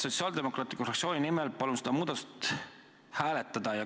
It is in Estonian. Sotsiaaldemokraatliku Erakonna fraktsiooni nimel palun seda muudatusettepanekut hääletada.